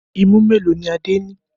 Imú mélòó ni Adé ní?